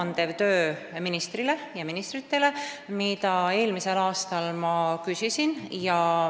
Üks pool on ministrile ja ministritele nõu andmine, mida ma eelmisel aastal ka küsisin.